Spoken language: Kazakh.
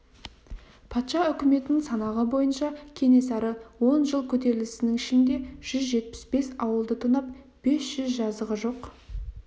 патша үкіметінің санағы бойынша кенесары он жыл көтерілісінің ішінде жүз жетпіс бес ауылды тонап бес жүз жазығы жоқ